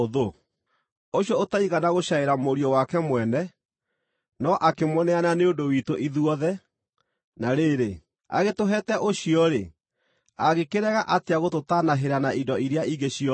Ũcio ũtaigana gũcaĩra Mũriũ wake mwene, no akĩmũneana nĩ ũndũ witũ ithuothe, na rĩrĩ, agĩtũheete ũcio-rĩ, angĩkĩrega atĩa gũtũtaanahĩra na indo iria ingĩ ciothe?